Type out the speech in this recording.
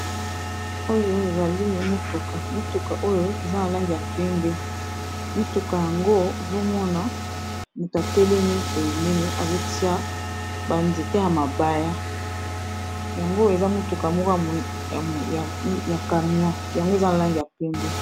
Oyo ezali motuka, motuka oyo eza na langi ya pembe motuka yango ozo mona moto atelemi pembeni azo tia ba nzete ya mabaya. Yango eza motuka moko ya camion yango eza na langi ya pembe.